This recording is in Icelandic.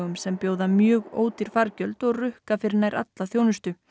sem bjóða mjög ódýr fargjöld og rukka fyrir nær alla þjónustu